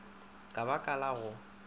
ka ba ka la go